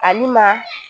Ani maa